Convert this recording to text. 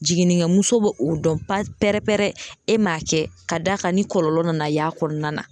Jiginnikɛmuso bo o dɔn pɛrɛn-pɛrɛ e m'a kɛ ka d'a kan ni kɔlɔlɔ nana y'a kɔnɔna na.